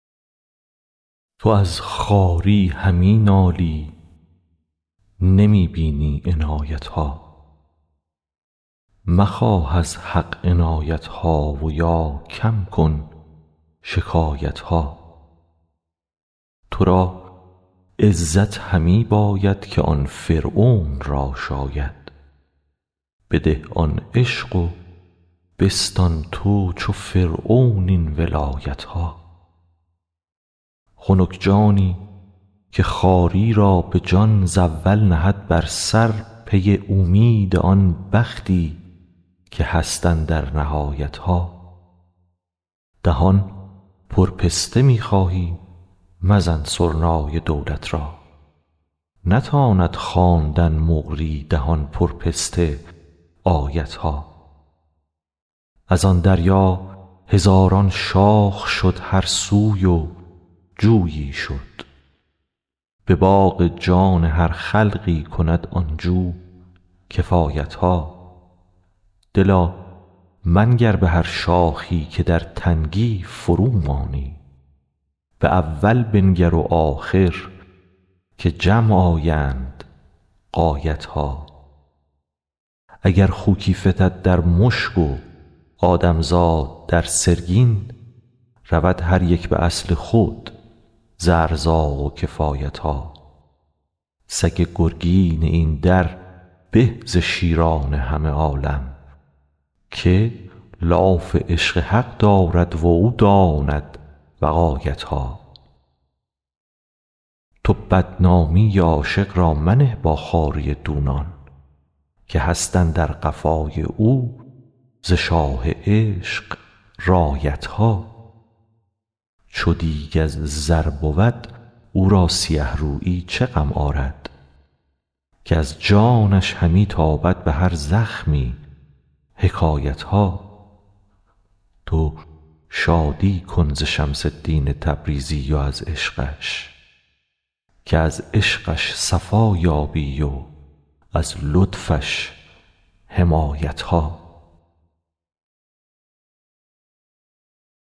تو از خواری همی نالی نمی بینی عنایت ها مخواه از حق عنایت ها و یا کم کن شکایت ها تو را عزت همی باید که آن فرعون را شاید بده آن عشق و بستان تو چو فرعون این ولایت ها خنک جانی که خواری را به جان ز اول نهد بر سر پی اومید آن بختی که هست اندر نهایت ها دهان پر پست می خواهی مزن سرنای دولت را نتاند خواندن مقری دهان پر پست آیت ها از آن دریا هزاران شاخ شد هر سوی و جویی شد به باغ جان هر خلقی کند آن جو کفایت ها دلا منگر به هر شاخی که در تنگی فرومانی به اول بنگر و آخر که جمع آیند غایت ها اگر خوکی فتد در مشک و آدم زاد در سرگین رود هر یک به اصل خود ز ارزاق و کفایت ها سگ گرگین این در به ز شیران همه عالم که لاف عشق حق دارد و او داند وقایت ها تو بدنامی عاشق را منه با خواری دونان که هست اندر قفای او ز شاه عشق رایت ها چو دیگ از زر بود او را سیه رویی چه غم آرد که از جانش همی تابد به هر زخمی حکایت ها تو شادی کن ز شمس الدین تبریزی و از عشقش که از عشقش صفا یابی و از لطفش حمایت ها